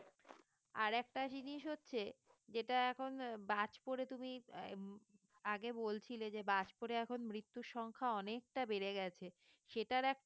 আরেকটা জিনিস হচ্ছে যেটা এখন আহ বাজ পড়ে তুমি আহ উম আগে বলছিলে যে বাজ পড়ে এখন মৃত্যুর সংখ্যা অনেকটা বেড়ে গেছে সেটার একটা